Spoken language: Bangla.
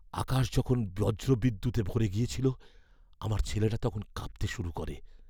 আকাশ যখন বজ্রবিদ্যুতে ভরে গিয়েছিল আমার ছেলেটা তখন কাঁপতে শুরু করে।